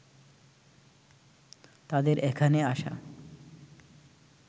তাদের এখানে আসা